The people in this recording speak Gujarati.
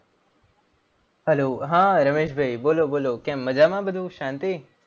hello હા રમેશ ભાઈ બોલો બોલો. કેમ મજામાં બધું શાંતિ?